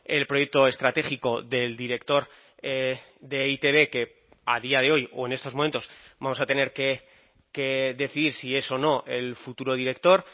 el proyecto estratégico del director de e i te be que a día de hoy o en estos momentos vamos a tener que decidir si es o no el futuro director